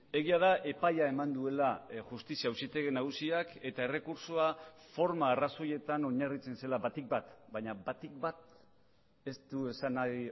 egia da epaia eman duela justizia auzitegi nagusiak eta errekurtsoa forma arrazoietan oinarritzen zela batik bat baina batik bat ez du esan nahi